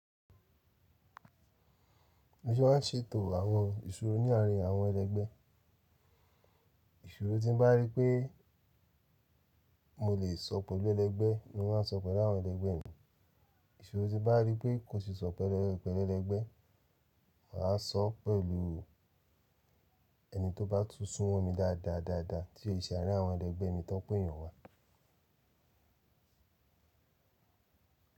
Mo ṣe máà ń ṣètò àwọn ìṣòro ní àárín àwọn ẹlẹgbẹ́. Ìṣòro tí n bá rí pé mo lè sọ pẹ̀lú ẹlẹgbẹ́ ni mo máa ń sọ pẹ̀lú àwọn ẹlẹgbẹ́ mi. Ìṣòro tí n bá rí pé kò ṣe é sọ̀ pẹ̀lú ẹlẹ́–pẹ̀lú ẹlẹgbẹ́, mà á sọ pẹ̀lú ẹni tó bá tún sún ọ̀n mi dáadáa, dáadáa tí ì ṣe àárín àwọn ẹlẹgbẹ́ mi tán péèyàn wà.